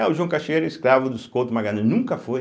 Ah, o João Cachoeira era escravo dos Couto Magalhães, nunca foi.